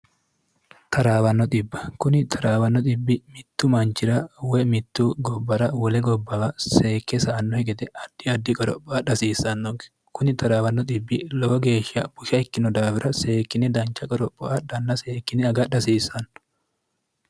taraawanno b kuni taraawanno bbi mittu manchira woy mittu gobbara wole gobbawa seekke sa annohi gede addi addi qoropho adhi hasiissannoge kuni traawnno lowo geeshsha busha ikkino daawira seekkine dancha qoropho adhanna seekkine aga adhi hasiissanno